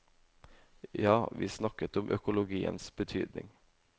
Ja, vi snakket om økologiens betydning.